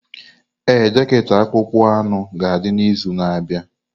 Ee, jaket akpụkpọ anụ ga-adị n'izu na-abịa.